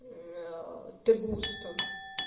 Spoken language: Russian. ты густо